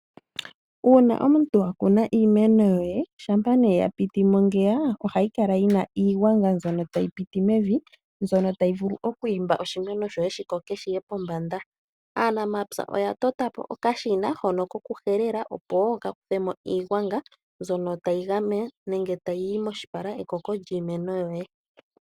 Uuna omuntu wakuna iimeno yoye, ngele yapitimo ngeya ohayi kala yina iigwanga mbyono tayi piti mevi, mbyono tayi vulu okwiimba oshimeno shoye dhikoke shoye pombanda. Aanamapya oya tota po okashina hono kokuhelela opo kakuthemo iigwanga mbyono tayi yi moshipala ekoko lyiimeno yoye.